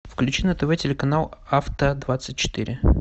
включи на тв телеканал авто двадцать четыре